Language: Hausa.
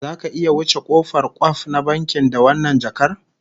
Zaka iya wuce kofar kwkwaf na bankin da wannan jakar?